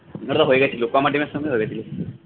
এটাতো হয়ে গেছিলো team এর সামনে হয়ে গেছিলো